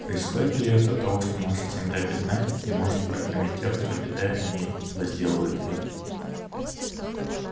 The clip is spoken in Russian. происходит ли это от того что наша земля бедна и не может прокормить тех кто обитает на ней и возделывает её